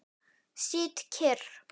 Sit kyrr.